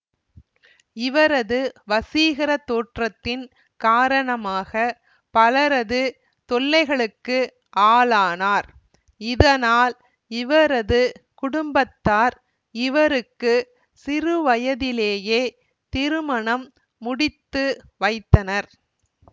இவரது வசீகர தோற்றத்தின் காரணமாக பலரது தொல்லைகளுக்கு ஆளானார் இதனால் இவரது குடும்பத்தார் இவருக்கு சிறுவயதிலேயே திருமணம் முடித்துவைத்தனர்